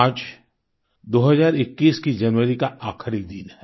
आज 2021 की जनवरी का आखिरी दिन है